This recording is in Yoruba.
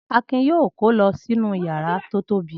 Akin yóò kó lọ sí inú ìyàrá tó tóbi!